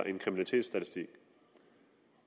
en kriminalitetsstatistik